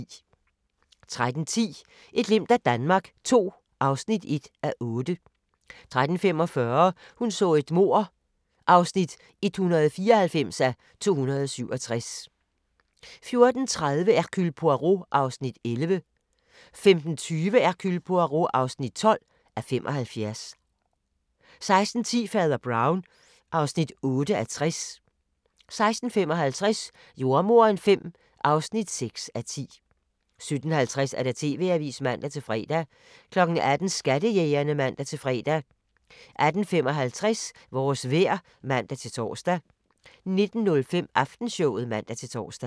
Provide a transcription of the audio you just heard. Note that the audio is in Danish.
13:10: Et glimt af Danmark II (1:8) 13:45: Hun så et mord (194:267) 14:30: Hercule Poirot (11:75) 15:20: Hercule Poirot (12:75) 16:10: Fader Brown (8:60) 16:55: Jordemoderen V (6:10) 17:50: TV-avisen (man-fre) 18:00: Skattejægerne (man-fre) 18:55: Vores vejr (man-tor) 19:05: Aftenshowet (man-tor)